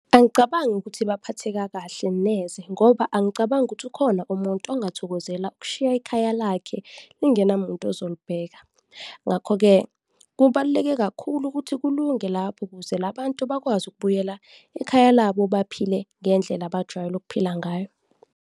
Angicabangi ukuthi baphatheka kahle neze ngoba angicabangi ukuthi ukhona umuntu ongathokozela ukushiya ekhaya lakhe lingena muntu ozolibheka, ngakho-ke kubaluleke kakhulu ukuthi kulunge lapho ukuze la bantu bakwazi ukubuyela ekhaya labo, baphile ngendlela abajwayele ukuphila ngayo.